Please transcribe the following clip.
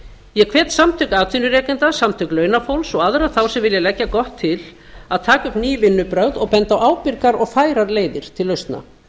ég hvet samtök atvinnurekenda samtök launafólks og aðra þá sem vilja leggja gott til að taka upp ný vinnubrögð og benda á ábyrgar og færar leiðir til lausna